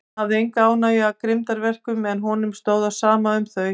Hann hafði enga ánægju af grimmdarverkum, en honum stóð á sama um þau.